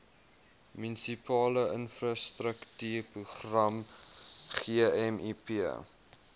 munisipale infrastruktuurprogram gmip